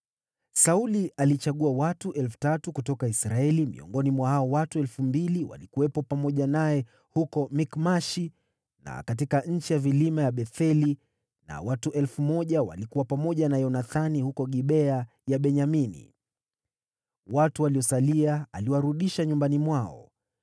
Sauli alichagua watu 3,000 kutoka Israeli; miongoni mwa hao watu 2,000 walikuwa pamoja naye huko Mikmashi na katika nchi ya vilima ya Betheli, nao watu 1,000 walikuwa pamoja na Yonathani huko Gibea ya Benyamini. Watu waliosalia aliwarudisha nyumbani mwao.